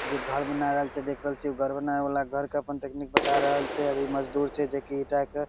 जे घर बना रहल छै देख रहल छीये उ घर बनावे वला के घर के टेकनीक बता रहल छै इ मजदूर छै जे की ईटा के --